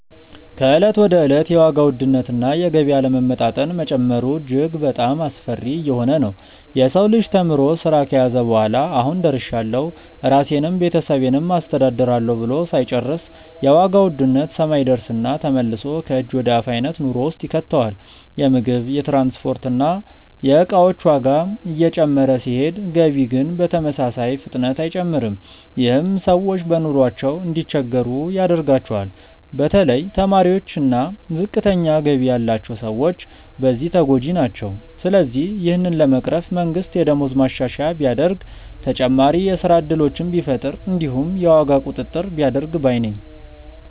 ከእለት ወደ እለት የዋጋ ውድነት እና የገቢ አለመመጣጠን መጨመሩ እጅግ በጣሞ አስፈሪ እየሆነ ነዉ። የሰው ልጅ ተምሮ ስራ ከያዘ በኋላ "አሁን ደርሻለሁ ራሴንም ቤተሰቤንም አስተዳድራለሁ" ብሎ ሳይጨርስ የዋጋ ውድነት ሰማይ ይደርስና ተመልሶ ከእጅ ወደ አፍ አይነት ኑሮ ውስጥ ይከተዋል። የምግብ፣ የትራንስፖርት እና የእቃዎች ዋጋ እየጨመረ ሲሄድ ገቢ ግን በተመሳሳይ ፍጥነት አይጨምርም። ይህም ሰዎች በኑሯቸው እንዲቸገሩ ያደርገዋል። በተለይ ተማሪዎች እና ዝቅተኛ ገቢ ያላቸው ሰዎች በዚህ ተጎጂ ናቸው። ስለዚህ ይህንን ለመቅረፍ መንግስት የደሞዝ ማሻሻያ ቢያደርግ፣ ተጨማሪ የስራ እድሎችን ቢፈጥር እንዲሁም የዋጋ ቁጥጥር ቢያደርግ ባይ ነኝ።